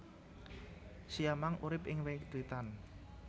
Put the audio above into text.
Siamang urip ing wit witan